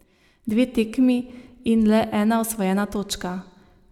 Dve tekmi in le ena osvojena točka.